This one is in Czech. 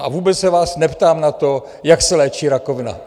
A vůbec se vás neptám na to, jak se léčí rakovina.